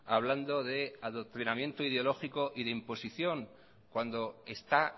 hablando de adoctrinamiento ideológico y de imposición cuando está